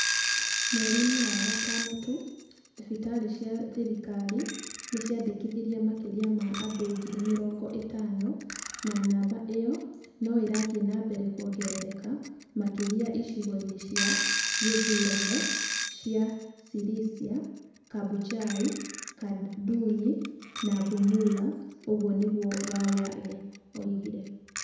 Mweri-inĩ wa gatano tu, thibitarĩ cia thirikari nĩ ciandĩkithirie makĩria ma andũ ngiri mĩrongo ĩtano na namba ĩyo no ĩrathiĩ na mbere kuongerereka makĩria icigo-inĩ cia gĩthurano cia Sirisia, Kabuchai, Kanduyi na Bumula", ũguo nĩguo Walela oigire.